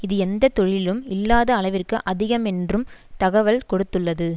இது எந்த தொழிலிலும் இல்லாத அளவிற்கு அதிகம் என்றும் தகவல் கொடுத்துள்ளது